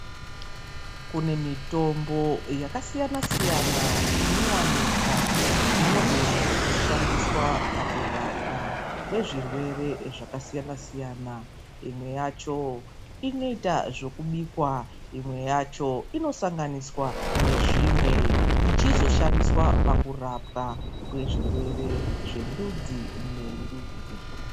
Kune mitombo yakasiyana siyana inowanikwa, inogona kushandiswa pakurapwa kwezvirwere zvakasiyana siyana. Imwe yacho inoita zvekubikwa. Imwe yacho inosanganiswa nezvimwe, ichizoshandiswa pakurapwa kwezvirwere zvendudzi nendudzi.